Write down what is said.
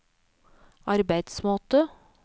arbeidsmåte